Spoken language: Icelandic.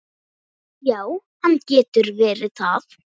Já, hann getur verið það.